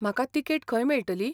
म्हाका तिकेट खंय मेळटली?